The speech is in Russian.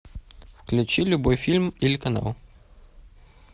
включи любой фильм или канал